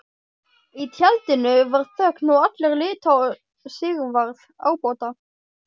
Í tjaldinu varð þögn og allir litu á Sigvarð ábóta.